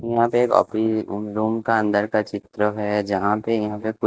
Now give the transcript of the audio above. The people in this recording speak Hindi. यहां पे एक ऑफ रूम का अंदर का चित्र है जहां पे यहां पे।